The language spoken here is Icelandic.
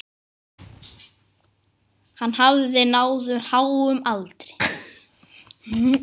Hann hafði náð háum aldri.